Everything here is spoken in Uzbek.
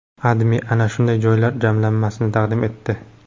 AdMe ana shunday joylar jamlanmasini taqdim etdi .